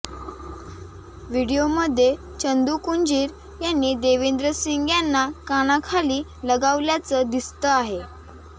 व्हिडिओमध्ये चंदू कुंजीर यांनी देवेंद्र सिंग यांना कानाखाली लगावल्याचं दिसंत आहे